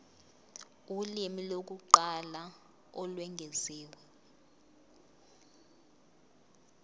ulimi lokuqala olwengeziwe